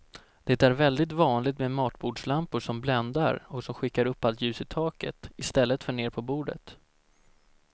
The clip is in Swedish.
Det är väldigt vanligt med matbordslampor som bländar och som skickar upp allt ljus i taket i stället för ner på bordet.